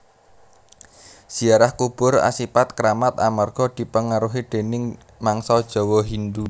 Ziarah kubur asipat kramat amarga dipengaruhi déning mangsa Jawa Hindhu